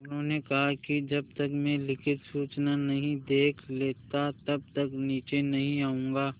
उन्होंने कहा कि जब तक मैं लिखित सूचना नहीं देख लेता तब तक नीचे नहीं आऊँगा